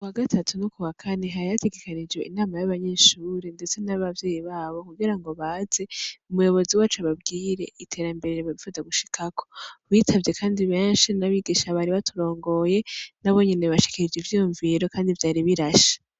Kuwa gatatu no kuwa kane hari hategekanijwe inama y'abanyeshure ndetse n'abavyeyi babo kugira ngo baze, umuyobozi wacu ababwire iterambere bipfuza gushikako. Bitavye kandi benshi n'abigisha bari baturongoye, nabo nyene bashikirije ivyiyumviro kandi vyari birashe.